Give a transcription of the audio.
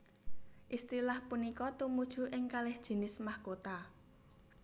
Istilah punika tumuju ing kalih jinis mahkota